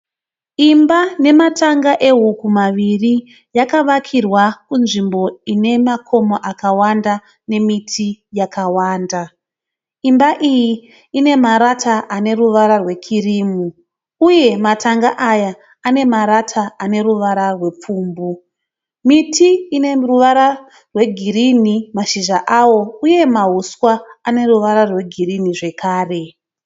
Imba nematanga ehuku maviri yakavakirwa kunzvimbo ine makomo akawanda nemiti yakawanda. Imba iyi ine marata ane ruvara rwe kirimu. Uye matanga aya ane marata ane ruvara rwe pfumbu. Miti ine ruvara rwe girinhi mashizha awo uye mahuswa ane ruvara rwegirinhi zvekare.